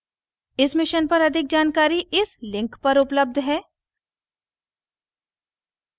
इस mission पर अधिक जानकारी इस लिंक पर उपलब्ध है